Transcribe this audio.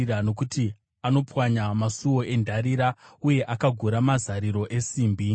nokuti anopwanya masuo endarira, uye akagura mazariro esimbi.